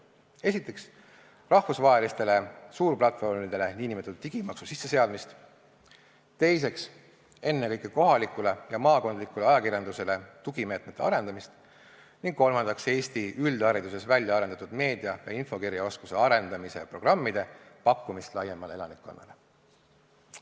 Esiteks, rahvusvahelistele suurplatvormidele nn digimaksu sisseseadmist, teiseks, ennekõike kohaliku ja maakondliku ajakirjanduse tugimeetmete arendamist, ning kolmandaks, Eesti üldhariduses väljaarendatud meedia- ja infokirjaoskuse arendamise programmide pakkumist laiemale elanikkonnale.